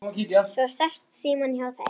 Svo sest Símon hjá þeim